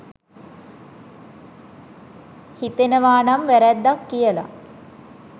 හිතෙනවනම් වැරද්දක් කියලා